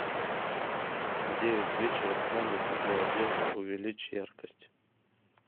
в девять вечера в комнате для одежды увеличь яркость